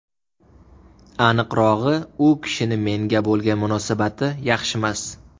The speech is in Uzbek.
Aniqrog‘i, u kishini menga bo‘lgan munosabati yaxshimas.